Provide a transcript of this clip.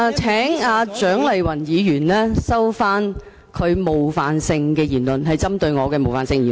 請蔣麗芸議員收回她針對我的冒犯性言詞。